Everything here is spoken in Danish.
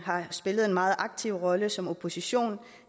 har spillet en meget aktiv rolle som opposition